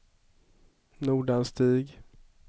Nordanstig